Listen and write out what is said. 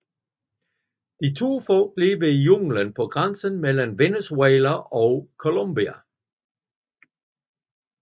De to folk lever i junglen på grænsen mellem Venezuela og Colombia